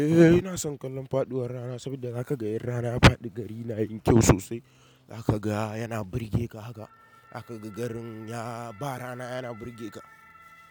Eh ina son kallon faduwar rana saboda zaka ga in rana ya faɗi gari na yin kyau sosai. Zaka ga yana burgeka haka. Zaka ga garin ya ba rana yana burgeka.